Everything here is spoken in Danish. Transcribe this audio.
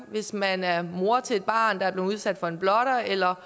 hvis man er mor til et barn der er blevet udsat for en blotter eller